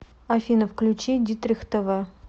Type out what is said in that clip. афина включи дитрих тэ вэ